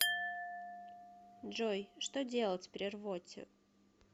джой что делать при рвоте